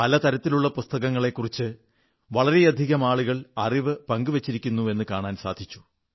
പല തരത്തിലുള്ള പുസ്തകങ്ങളെക്കുറിച്ച് വളരെയധികം ആളുകൾ അറിവു പങ്കുവച്ചിരിക്കുന്നുവെന്നു കാണാൻ സാധിച്ചു